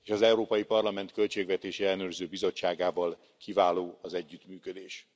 Az Európai Parlament Költségvetési Ellenőrző Bizottságával kiváló az együttműködés.